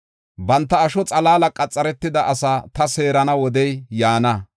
“Banta asho xalaala qaxaretida asaa ta seerana wodey yaana.